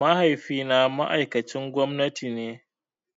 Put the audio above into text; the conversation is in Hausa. Mahaifi na ma'aikcin gwamnati ne